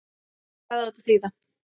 Hvað á þetta að þýða?